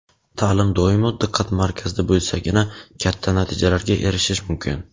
Ta’lim doimo diqqat markazda bo‘lsagina katta natijalarga erishish mumkin;.